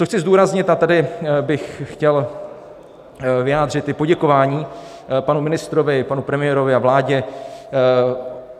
Co chci zdůraznit - a tady bych chtěl vyjádřit i poděkování panu ministrovi, panu premiérovi a vládě.